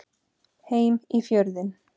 Heim í Fjörðinn.